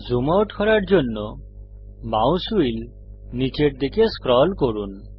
zoom out করার জন্য mouse wheel নীচের দিকে স্ক্রল করুন